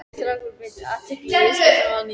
Strákarnir beindu athyglinni að viðskiptunum að nýju.